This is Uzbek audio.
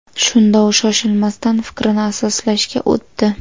Shunda u shoshilmasdan fikrini asoslashga o‘tdi.